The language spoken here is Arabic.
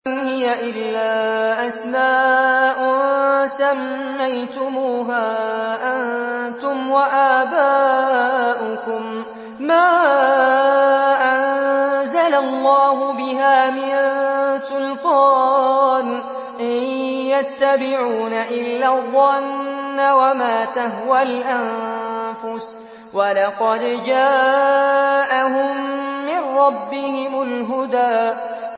إِنْ هِيَ إِلَّا أَسْمَاءٌ سَمَّيْتُمُوهَا أَنتُمْ وَآبَاؤُكُم مَّا أَنزَلَ اللَّهُ بِهَا مِن سُلْطَانٍ ۚ إِن يَتَّبِعُونَ إِلَّا الظَّنَّ وَمَا تَهْوَى الْأَنفُسُ ۖ وَلَقَدْ جَاءَهُم مِّن رَّبِّهِمُ الْهُدَىٰ